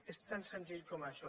és tan senzill com això